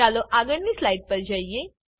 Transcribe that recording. ચાલો આગળની સ્લાઈડ પર જઈએ